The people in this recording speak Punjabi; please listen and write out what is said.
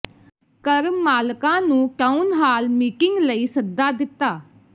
ਘਰ ਮਾਲਕਾਂ ਨੂੰ ਟਾਊਨ ਹਾਲ ਮੀਟਿੰਗ ਲਈ ਸੱਦਾ ਦਿੱਤਾ